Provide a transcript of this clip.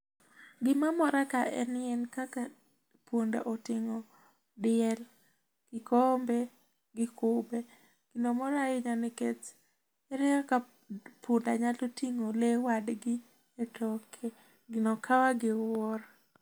Gi ma mora ka en ni kaka punda otingo diel ki komombe gi kube gi no mora ahinya nikech ere kaka punda nyalo tingo lee wadgi e toke gi no kawa gi wuoro.